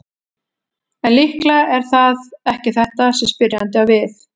En líklega er það ekki þetta sem spyrjandi á við.